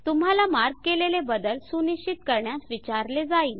तुम्हाला मार्क केलेले बदल सुनिश्चित करण्यास विचारले जाईल